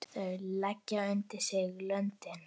Þeir leggja undir sig löndin!